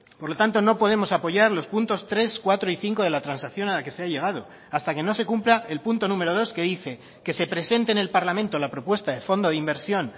por lo tanto no podemos apoyar los puntos tres cuatro y cinco de la transacción a la que se ha llegado hasta que no se cumpla el punto número dos que dice que se presente en el parlamento la propuesta de fondo de inversión